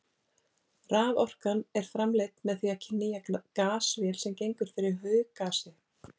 Raforkan er framleidd með því að knýja gasvél sem gengur fyrir hauggasi.